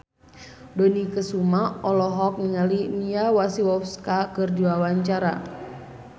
Dony Kesuma olohok ningali Mia Masikowska keur diwawancara